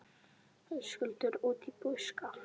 Höskuldur: Út í buskann?